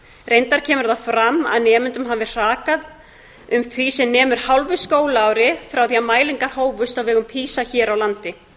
reyndar kemur það fram að nemendum hafi hrakað um því sem nemur hálfu skólaári frá því mælingar hófust á vegum pisa hér á landi